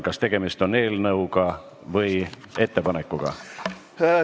Kas tegemist on eelnõuga või ettepanekuga?